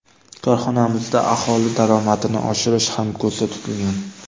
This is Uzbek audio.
Korxonamizda aholi daromadini oshirish ham ko‘zda tutilgan.